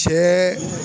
Cɛ